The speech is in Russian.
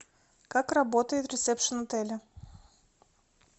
как работает ресепшен отеля